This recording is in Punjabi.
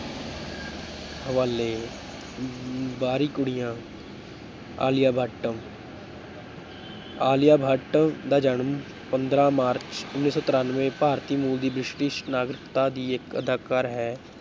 ਹਵਾਲੇ ਅਮ ਬਾਹਰੀ ਕੁੜੀਆਂ ਆਲਿਆ ਭੱਟ ਆਲਿਆਭੱਟ ਦਾ ਜਨਮ ਪੰਦਰਾਂ ਮਾਰਚ ਉੱਨੀ ਸੌ ਤਰਾਨਵੇਂ ਭਾਰਤੀ ਮੂਲ ਦੀ ਬ੍ਰਿਟਿਸ਼ ਨਾਗਰਿਕਤਾ ਦੀ ਇੱਕ ਅਦਾਕਾਰਾ ਹੈ।